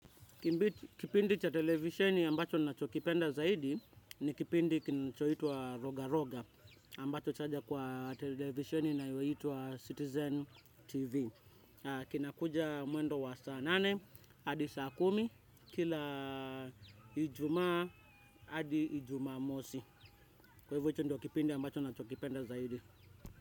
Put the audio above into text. Kipindi cha televisheni ambacho nina chokipenda zaidi ni kipindi kinachoitwa roga roga ambacho chaja kwa televisheni inayoitwa Citizen TV. Kinakuja mwendo wa saa nane, adi saa kumi, kila ijumaa, hadi ijumamosi. Kwa hivyo hicho ndio kipindi ambacho na chokipenda zaidi.